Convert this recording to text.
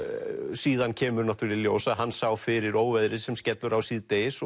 síðan kemur í ljós að hann sá fyrir óveðrið sem skellur á síðdegis